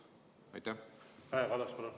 Kaja Kallas, palun!